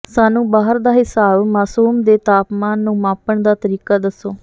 ਸਾਨੂੰ ਬਾਹਰ ਦਾ ਿਹਸਾਬ ਮਾਸੂਮ ਦੇ ਤਾਪਮਾਨ ਨੂੰ ਮਾਪਣ ਦਾ ਤਰੀਕਾ ਦੱਸੋ